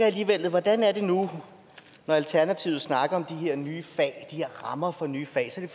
alligevel hvordan er det nu når alternativet snakker om de her nye fag de her rammer for nye fag så er